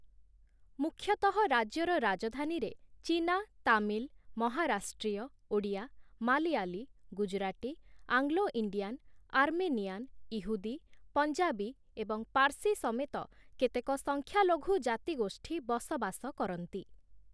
ମୁଖ୍ୟତଃ ରାଜ୍ୟର ରାଜଧାନୀରେ ଚୀନା, ତାମିଲ, ମହାରାଷ୍ଟ୍ରୀୟ, ଓଡ଼ିଆ, ମାଲୟାଲୀ, ଗୁଜୁରାଟୀ, ଆଙ୍ଗ୍ଳୋ-ଇଣ୍ଡିଆନ, ଆର୍ମେନିଆନ, ଇହୁଦୀ, ପଞ୍ଜାବୀ ଏବଂ ପାର୍ସୀ ସମେତ କେତେକ ସଂଖ୍ୟାଲଘୁ ଜାତିଗୋଷ୍ଠୀ ବସବାସ କରନ୍ତି ।